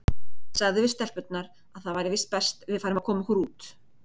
Sagði við stelpurnar að það væri víst best að við færum að koma okkur út.